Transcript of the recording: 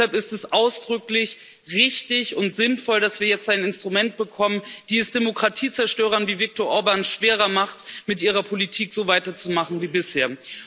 Deshalb ist es ausdrücklich richtig und sinnvoll, dass wir jetzt ein Instrument bekommen, das es Demokratiezerstörern wie Viktor Orbàn schwerer macht, mit ihrer Politik so weiterzumachen wie bisher.